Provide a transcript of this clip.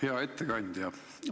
Hea ettekandja!